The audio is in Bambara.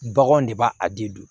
Baganw de b'a a de don